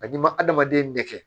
A n'i ma adamaden nɛgɛ